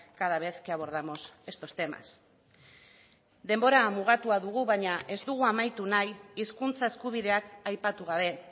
cada vez que abordamos estos temas denbora mugatua dugu baina ez dugu amaitu nahi hizkuntza eskubideak aipatu gabe